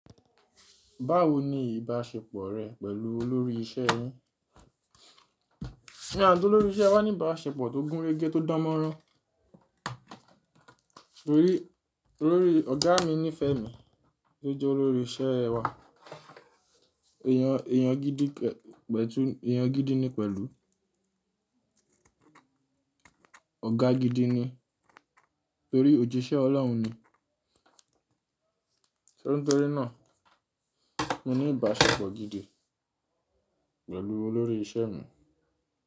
Báwo ni ìbáṣepọ̀ rẹ pẹ̀lú olórí iṣẹ́ yín? Èmi àti olórí iṣẹ́ wa ní ìbáṣepọ̀ tó gún régé, tó dán mọ́rán. Torí olórí, ọ̀gá mi nífẹ̀ẹ́ mi, tó jẹ́ olórí iṣẹ́ wa. Èèyàn, èèyàn gidi pẹ̀tu, èèyàn gidi ni pẹ̀lú. Ọ̀gá gidi ni. Torí òjíṣẹ́ Ọlọ́hun ni. So nítorí náà, mo ní ìbáṣepọ̀ gidi pẹ̀lú olórí iṣẹ́ mi.